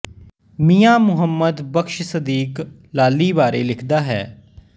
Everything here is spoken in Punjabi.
ਮੀਆਂ ਮਹੁੰਮਦ ਬਖ਼ਸ ਸਦੀਕ ਲਾਲੀ ਬਾਰੇ ਲਿਖਦਾ ਹੈ